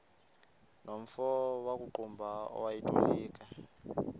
nomfo wakuqumbu owayetolika